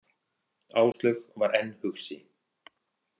Áslaug var enn hugsi.